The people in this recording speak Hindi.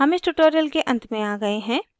हम इस tutorial के अंत में आ गए हैं